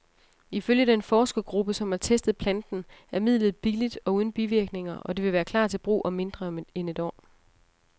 Ifølge den forskergruppe, som har testet planten, er midlet billigt og uden bivirkninger, og det vil klar til brug om mindre end et år.